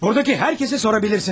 Buradakı hər kəsə sorabilirsiniz məni.